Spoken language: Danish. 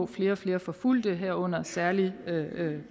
flere og flere forfulgte herunder særlig